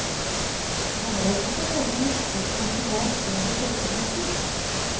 Nå har jeg ikke for vane å mislike harselas over folkegrupper.